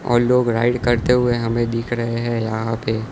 और लोग राइड करते हुए हमें दिख रहे हैं यहां पे --